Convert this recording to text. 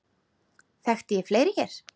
Þekkti ég fleiri hér?